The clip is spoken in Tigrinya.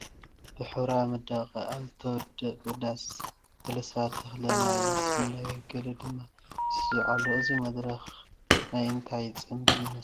ብሕብራዊ መዳመቕ ኣብ ዝተወቀበ ዳስ ገለ ሰባት እኽለ ማይ ይስነዩ ገለ ድማ ይስዕስዑ ኣለዉ፡፡ እዚ መድረኽ ናይ እንታይ ፅምብል ይመስል?